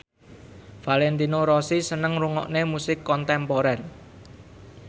Valentino Rossi seneng ngrungokne musik kontemporer